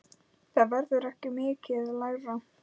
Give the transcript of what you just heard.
Það verður ekki mikið lægra.